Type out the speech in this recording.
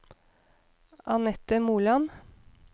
Anette Moland